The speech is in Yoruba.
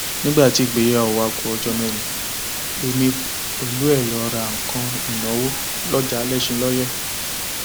nígbà tí ìgbéyàwó wa ku ọjọ mẹrin èmi pẹlú ẹ á lọọ ra nǹkan ìnáwó lọjà alẹsìnlóye